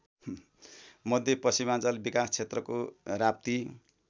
मध्यपश्चिमाञ्चल विकासक्षेत्रको राप्ती